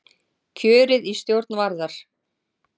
Kjörið í stjórn Varðar